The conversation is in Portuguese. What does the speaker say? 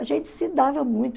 A gente se dava muito.